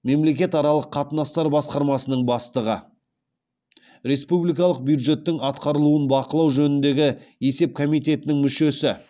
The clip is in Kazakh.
мемлекетаралық қатынастар басқармасының бастығы республикалық бюджеттің атқарылуын бақылау жөніндегі есеп комитетінің мүшесі